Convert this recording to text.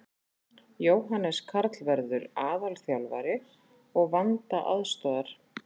Jóhannes Karl verður aðalþjálfari og Vanda aðstoðar.